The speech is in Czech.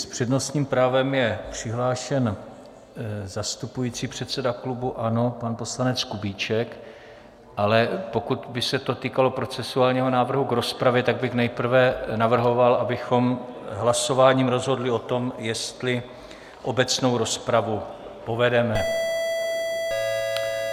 S přednostním právem je přihlášen zastupující předseda klubu ANO pan poslanec Kubíček, ale pokud by se to týkalo procedurálního návrhu k rozpravě, tak bych nejprve navrhoval, abychom hlasováním rozhodli o tom, jestli obecnou rozpravu povedeme.